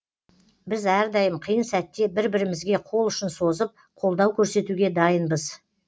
біз әрдайым қиын сәтте бір бірімізге қол ұшын созып қолдау көрсетуге дайынбыз